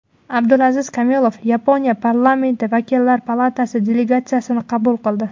Abdulaziz Kamilov Yaponiya Parlamenti Vakillar palatasi delegatsiyasini qabul qildi.